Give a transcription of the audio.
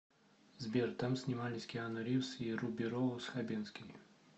сбер там снимались киану ривз и руби роуз хабенский